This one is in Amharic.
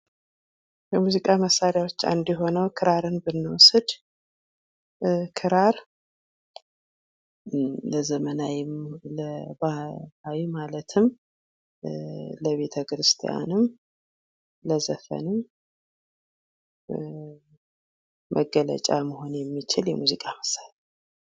የሙዚቃ መሳሪያዎች አንዱ የሆነው ክራርን ብንወስድ ፤ክራር ለዘመናውም ለ ባህላዊም ማለትም ለቤተ ክርስቲያንም ለዘፈኑ መግለጫ መሆን የሚችል የሙዚቃ ምሳሪያ ነው።